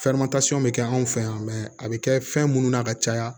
bɛ kɛ anw fɛ yan a bɛ kɛ fɛn munnu na ka caya